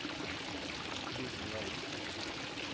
Vis linjalen